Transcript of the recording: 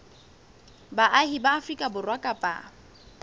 baahi ba afrika borwa kapa